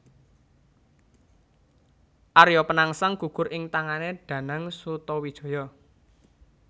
Arya Penangsang gugur ing tangané Danang Sutawijaya